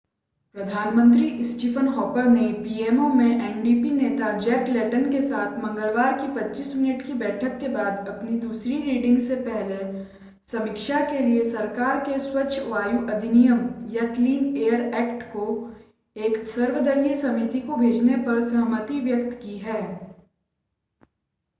प्रधान मंत्री Stephen Harper ने PMO में एनडीपी नेता जैक लेटन के साथ मंगलवार की 25 मिनट की बैठक के बाद अपनी दूसरी रीडिंग से पहले समीक्षा के लिए सरकार के 'स्वच्छ वायु अधिनियम' क्लिन एयर ऐक्ट को एक सर्वदलीय समिति को भेजने पर सहमति व्यक्त की है